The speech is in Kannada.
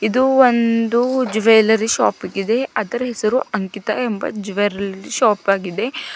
ಇದು ಒಂದು ಜ್ಯುವೆಲರಿ ಶಾಪ್ ಆಗಿದೆ ಅದರ ಹೆಸರು ಅಂಕಿತ ಎಂಬ ಜ್ಯುವೆಲರಿ ಶಾಪ್ ಆಗಿದೆ.